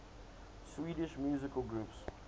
swedish musical groups